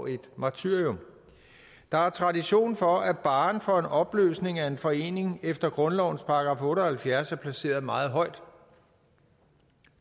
et martyrium der er tradition for at barren for en opløsning af en forening efter grundlovens § otte og halvfjerds er placeret meget højt